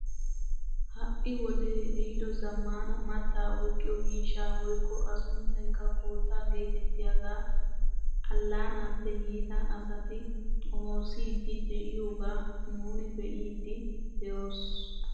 Ha' iwodee ehido zammaana mattaa oyqqiyoo miishshaa woykko a sunttaykka koottaa getettiyaagaa allaanaappe yiida asati xomoossiidi de'iyoogaa nuuni be'iidi de'oos!